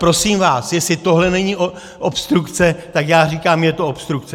Prosím vás, jestli tohle není obstrukce, tak já říkám - je to obstrukce!